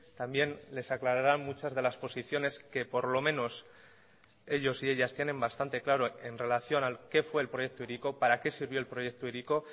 también les aclararán muchas de las posiciones que por lo menos ellos y ellas tienen bastante claro en relación que fue el proyecto hiriko para que sirvió el proyecto hiriko